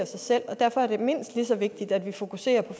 sig selv og derfor er det mindst lige så vigtigt at vi fokuserer på